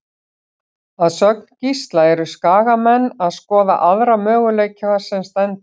Að sögn Gísla eru Skagamenn að skoða aðra möguleika sem stendur.